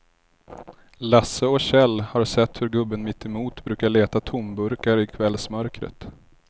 Lasse och Kjell har sett hur gubben mittemot brukar leta tomburkar i kvällsmörkret.